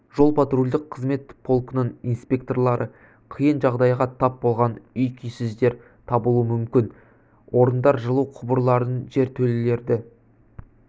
жол-патрульдік қызмет полкінің инспекторлары қиын жағдайға тап болған үй-күйсіздер табылуы мүмкін орындар жылу құбырларын жертөлелерді